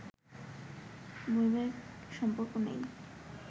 বৈবাহিক সম্পর্ক নেই